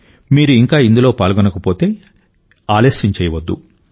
మీరు ఇంకా ఇందులో పాల్గొనకపోతే ఇంకా ఆలస్యం చేయవద్దు